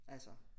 Altså